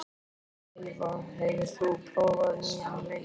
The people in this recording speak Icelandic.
Eyva, hefur þú prófað nýja leikinn?